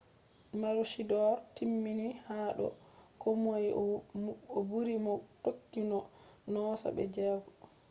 maroochydore timmini ha do komoi o buri mo tokki mo noosa be jego